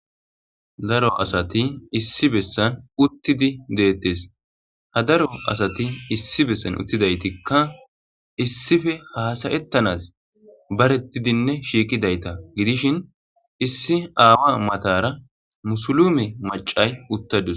Daro asati issi besan utidi de'etes ha daro asati issi besan utida etika isipe h asa'etanas baretidinee shiqidayisa gidishin issi awa matara musulume macayi utadus